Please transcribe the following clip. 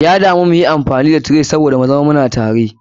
Ya damu muyi amfani da tray saboda mu zama muna tare.